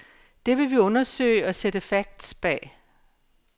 Det vil vi undersøge og sætte facts bag.